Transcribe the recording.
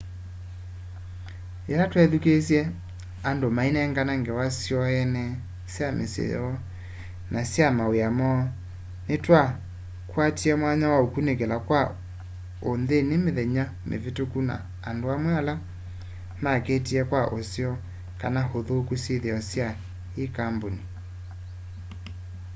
yila twethukiisye andu mainengane ngewa syoo ene sya misyi yoo na sya mawiani moo ni twakwatie mwanya wa ukunikila kwa unthini mithenya mivituku na andu amwe ala makiitie kwa useo kana uthuku syithio sya i kambuni